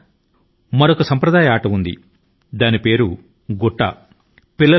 మన దేశం లో గుట్టా అని పిలువబడే మరొక సాంప్రదాయక క్రీడ కూడా ఉంది